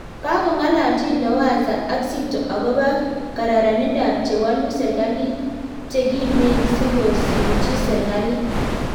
Kakongalalchiin Lowassa ak Zito akopo kararanindap chewaluu serikalit chekimeen sikosimchii serikalit